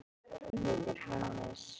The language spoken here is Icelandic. Hann heitir Hannes.